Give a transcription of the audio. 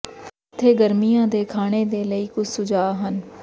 ਇੱਥੇ ਗਰਮੀਆਂ ਦੇ ਖਾਣੇ ਦੇ ਲਈ ਕੁਝ ਸੁਝਾਅ ਹਨ